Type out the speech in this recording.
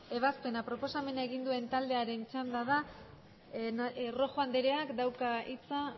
ebazpena proposamena egin duen taldearen txanda da rojo andreak dauka hitza